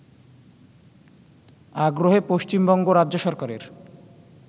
আগ্রহে পশ্চিমবঙ্গ রাজ্য সরকারের